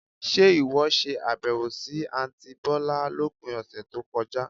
Ṣe ìwọ ṣe àbẹ̀wò sì àntí bọ̀lá lópin ọ̀sẹ̀ tó kọjá?